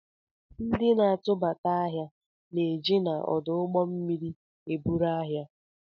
Ndi na-atụbata ahịa na-eje na ọdụ ụgbọ mmiri eburu ahịa